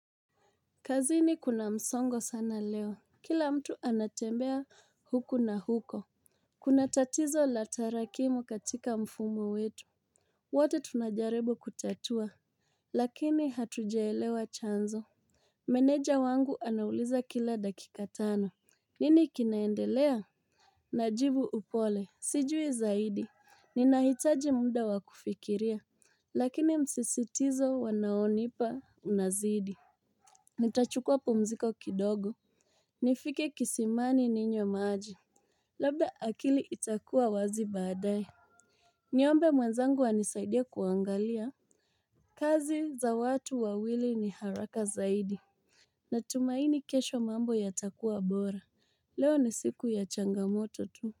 Kazini kuna msongo sana leo. Kila mtu anatembea huku na huko. Kuna tatizo la tarakimu katika mfumo wetu. Wote tunajaribu kutatua. Lakini hatujaelewa chanzo. Meneja wangu anauliza kila dakika tano. Nini kinaendelea? Najibu upole, sijui zaidi. Ninahitaji muda wa kufikiria. Lakini msisitizo wanaonipa unazidi. Nitachukua pumziko kidogo. Nifike kisimani ninywe maji. Labda akili itakuwa wazi badae. Niombe mwenzangu anisaidie kuangalia. Kazi za watu wawili ni haraka zaidi. Natumaini kesho mambo yatakuwa bora. Leo ni siku ya changamoto tu.